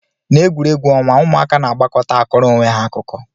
Na egwuregwu onwa, ụmụaka na agbakọta akọrọ onweha akụkọ.